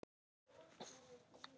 spurði Solla.